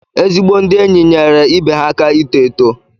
Ezi ndị enyi nyeere ibe ha aka ito eto.